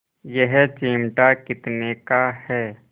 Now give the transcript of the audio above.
यह चिमटा कितने का है